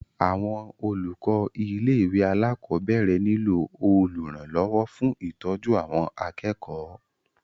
Àwọn olùkọ ilé ìwé alákọ̀berẹ̀ niló olùrànlọwọ fún ìtọ́jú àwọn akẹ́kọ̀ọ́.